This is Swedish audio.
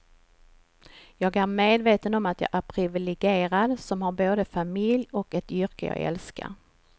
Jag är medveten om att jag är privilegierad som har både familj och ett yrke jag älskar.